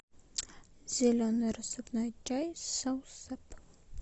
зеленый рассыпной чай с саусеп